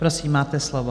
Prosím, máte slovo.